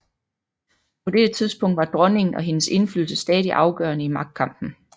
På dette tidspunkt var dronningen og hendes indflydelse stadig afgørende i magtkampen